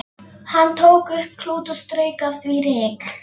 Hann tók upp klút og strauk af því ryk.